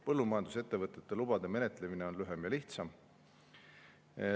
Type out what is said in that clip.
Põllumajandusettevõtete lubade menetlemine on lühem ja lihtsam.